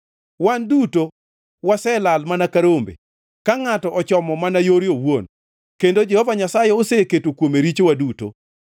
Wan duto, waselal mana ka rombe, ka ngʼato ochomo mana yore owuon; kendo Jehova Nyasaye oseketo kuome richowa duto.